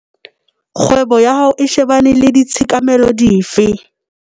Kgwebo ya hao e shebane le ditshekamelo dife?